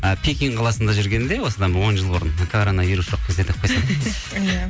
ы пекин қаласында жүргенімде осыдан он жыл бұрын коронавирус жоқ кезде деп қойсаң иә